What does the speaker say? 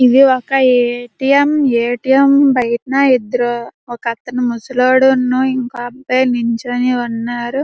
ఇది ఒక ATM. ATM. బయట ఇద్దరు ఒకతను ముసలివాడు ఇంకో అబ్బాయి నిల్చుని ఉన్నారు.